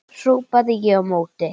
hrópaði ég á móti.